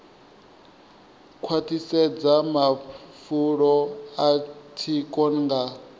khwaṱhisedza mafulo a tsiko nga